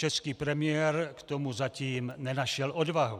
Český premiér k tomu zatím nenašel odvahu.